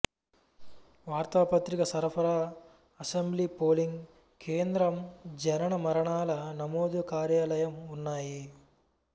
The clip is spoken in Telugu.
వార్తాపత్రిక సరఫరా అసెంబ్లీ పోలింగ్ కేంద్రం జనన మరణాల నమోదు కార్యాలయం ఉన్నాయి